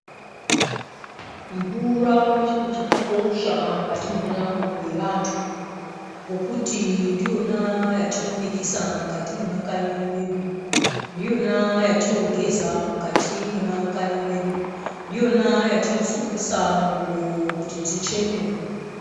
Mvura chiro chakakosha mukati mwendaramo yevantu nokuti ndiyona yatinobikisa mukati mwema kanyi mwedu. Ndiyona yatinogeza mukati mwemakanyi mwedu, ndiyona yatinosukisa ngubo kuti dzichene.